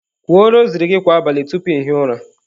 Kwuo rosary gị kwa abalị tupu ị hie ụra!.